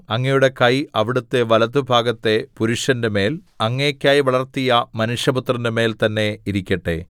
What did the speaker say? അങ്ങയുടെ കൈ അവിടുത്തെ വലത്തുഭാഗത്തെ പുരുഷന്റെമേൽ അങ്ങേയ്ക്കായി വളർത്തിയ മനുഷ്യപുത്രന്റെ മേൽതന്നെ ഇരിക്കട്ടെ